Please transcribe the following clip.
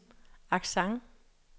accent